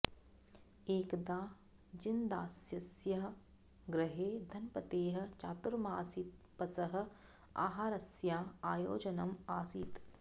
एकदा जिनदासस्य गृहे धनपतेः चातुर्मासीतपसः आहारस्या आयोजनम् आसीत्